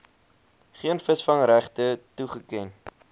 geen visvangregte toegeken